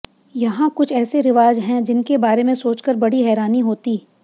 यहां कुछ ऐसे रिवाज है जिनके बारे में सोचकर बड़ी हैरानी होती